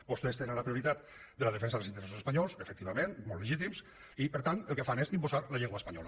vostès tenen la prioritat de la defensa dels interessos espanyols efectivament molt legítims i per tant el que fan és imposar la llengua espanyola